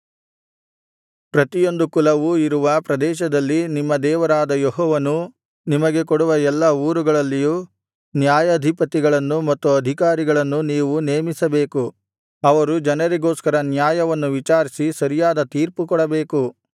ಪ್ರತಿಯೊಂದು ಕುಲವು ಇರುವ ಪ್ರದೇಶದಲ್ಲಿ ನಿಮ್ಮ ದೇವರಾದ ಯೆಹೋವನು ನಿಮಗೆ ಕೊಡುವ ಎಲ್ಲಾ ಊರುಗಳಲ್ಲಿಯೂ ನ್ಯಾಯಾಧಿಪತಿಗಳನ್ನೂ ಮತ್ತು ಅಧಿಕಾರಿಗಳನ್ನೂ ನೀವು ನೇಮಿಸಬೇಕು ಅವರು ಜನರಿಗೋಸ್ಕರ ನ್ಯಾಯವನ್ನು ವಿಚಾರಿಸಿ ಸರಿಯಾದ ತೀರ್ಪುಕೊಡಬೇಕು